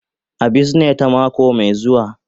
A bizine ta mako mai zuwa.